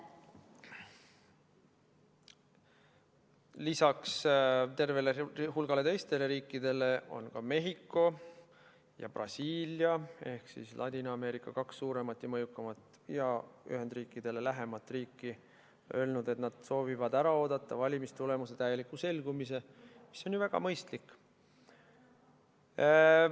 Lisaks tervele hulgale teistele riikidele on ka Mehhiko ja Brasiilia ehk Ladina-Ameerika kaks suurimat ja mõjukaimat ja Ühendriikidele lähimat riiki öelnud, et nad soovivad ära oodata valimistulemuse täieliku selgumise, mis on ju väga mõistlik.